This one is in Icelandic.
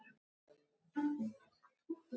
Hann var búinn að lofa strákunum heimsmeti.